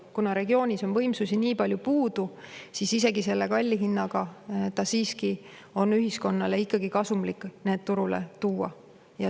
Kuna regioonis on võimsusi nii palju puudu, siis isegi selle kalli hinna korral on ühiskonnale ikkagi kasumlik neid turule aidata.